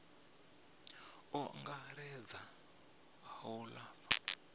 u angaredza a u lafha